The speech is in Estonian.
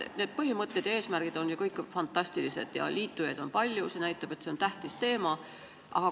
Need põhimõtted ja eesmärgid on kõik fantastilised ja liitujaid on palju, see näitab, et see on tähtis teema.